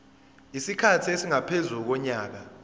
isikhathi esingaphezu konyaka